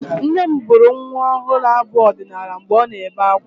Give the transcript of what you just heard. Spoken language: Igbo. Nne m bụrụ nwa ọhụrụ abụ ọdịnaala mgbe ọ na-ebe akwa.